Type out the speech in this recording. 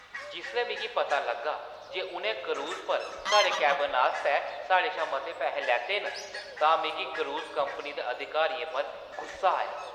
जिसलै मिगी पता लग्गा जे उʼनें क्रूज़ पर साढ़े केबिन आस्तै साढ़े शा मते पैहे लैते न तां मिगी क्रूज़ कंपनी दे अधिकारियें पर गुस्सा आया।